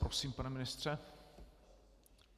Prosím, pane ministře.